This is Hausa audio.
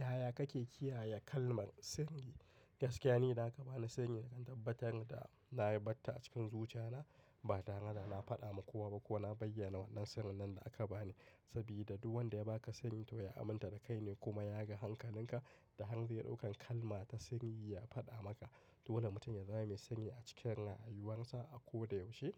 Yaya kake kiyaye kalmar sanyi? Gaskiya ne, na ka bani sanyi da can, tabbatar da na yi batta a cikin zuciya na. Ba tare da na faɗa ma kowa ba ko na bayyana wannan sanyi nan da aka bani. Saboda duk wanda ya ba ka sanyi to ya aminta da kai ne kuma ya ga hankalin ka da hanyar daukan kalma ta sanyi ya faɗa maka. Dole mutum ya zama mai sanyi a cikinsa, a yuwansa, a koda yaushe.